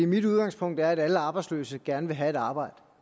mit udgangspunkt er at alle arbejdsløse gerne vil have et arbejde